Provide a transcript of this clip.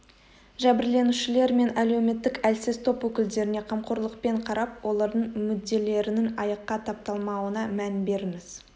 жәбірленушілер мен әлеуметтік әлсіз топ өкілдеріне қамқорлықпен қарап олардың мүдделерінің аяққа тапталмауына мән беріңіз